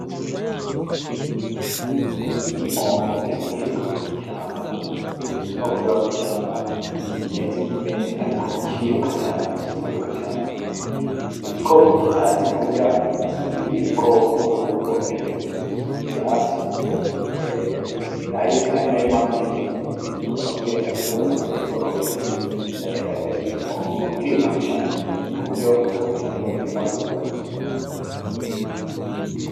Iyi ni mpongo iri ikiriruka nka mwishamba ni igikoko kiba mw'ishamba kimeze nk'impene, ariko ciruka cane kizi kwiruka cane iki igikoko kitazi kurya iki ibindi bikoko ahubwo ico co kira ivyatsiari na yo mpamvu kenshi y gikunda kubirenganira mugasanga ibindi bikorako birakirya bakita impongo iriruka cane ku buryo uwogirangoyo irranaguruka.